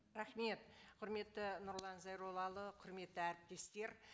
рахмет құрметті нұрлан зайроллаұлы құрметті әріптестер